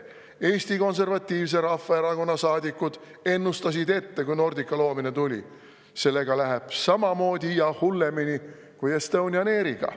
Kui Nordica loodi, siis Eesti Konservatiivse Rahvaerakonna saadikud ennustasid ette, et sellega läheb samamoodi või hullemini kui Estonian Airiga.